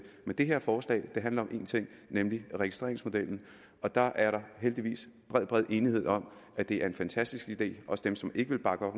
men det her forslag handler om én ting nemlig registreringsmodellen og der er der heldigvis bred bred enighed om at det er en fantastisk idé også dem som ikke vil bakke op